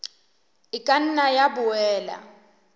e ka nna ya boela